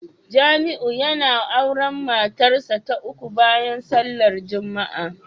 Jamiu yana auren matarsa ​​ta uku bayan sallar Juma'a